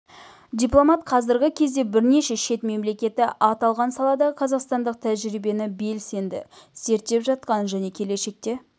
дипломат қазіргі кезде бірнеше шет мемлекеті аталған саладағы қазақстандық тәжірибені белсенді зерттеп жатқанын және келешекте